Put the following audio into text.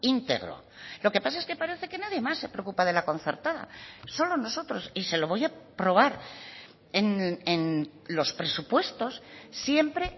íntegro lo que pasa es que parece que nadie más se preocupa de la concertada solo nosotros y se lo voy a probar en los presupuestos siempre